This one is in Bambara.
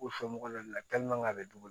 U somɔgɔw la a bɛ dugu